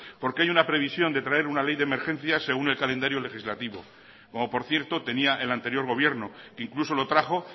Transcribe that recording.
porque hay una previsión de traer una ley de emergencias según el calendario legislativo como por cierto tenía el anterior gobierno que incluso lo trajo